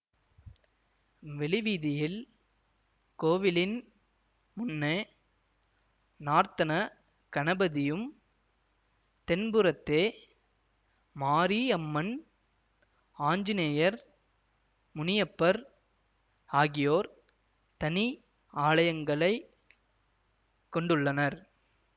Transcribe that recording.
வெளிவீதியில் கோவிலின் முன்னே நார்த்தன கணபதியும் தென்புறத்தே மாரி அம்மன் ஆஞ்சநேயர் முனியப்பர் ஆகியோர் தனி ஆலயங்களை கொண்டுள்ளனர்